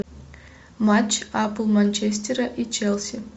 матч апл манчестера и челси